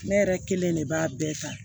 Ne yɛrɛ kelen de b'a bɛɛ ta